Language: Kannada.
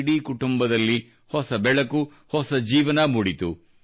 ಇಡೀ ಕುಟುಂಬದಲ್ಲಿ ಹೊಸ ಬೆಳಕು ಹೊಸ ಜೀವನ ಮೂಡಿತು